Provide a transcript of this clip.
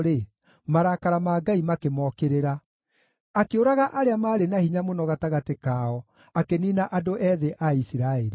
marakara ma Ngai makĩmokĩrĩra; akĩũraga arĩa maarĩ na hinya mũno gatagatĩ kao, akĩniina andũ ethĩ a Isiraeli.